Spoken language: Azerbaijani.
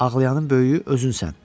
Ağlayanın böyüyü özünsən.